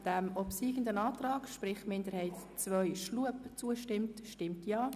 Wer dem obsiegenden Antrag der GSoK-Minderheit II zustimmt, stimmt Ja.